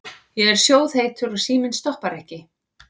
Ég er sjóðheitur og síminn stoppar ekki.